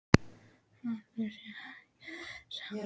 Ætli hann sé ekki fyrir sex?